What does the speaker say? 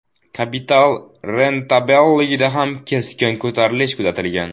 Kapital rentabelligida ham keskin ko‘tarilish kuzatilgan.